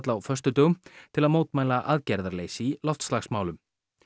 á föstudögum til að mótmæla aðgerðarleysi í loftslagsmálum